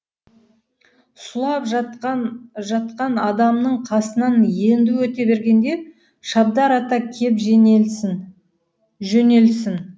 сұлап жатқан адамның қасынан енді өте бергенде шабдар ата кеп жөнелсін